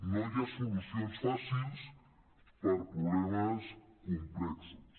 no hi ha so·lucions fàcils per problemes complexos